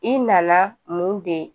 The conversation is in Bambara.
I nana mun de